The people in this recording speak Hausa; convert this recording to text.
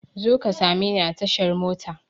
Zo ka same ni a tashar mota!